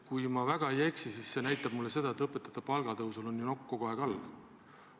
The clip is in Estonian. Kui ma väga ei eksi, siis see näitab, et õpetajate palga tõusul on ju nokk kogu aeg all.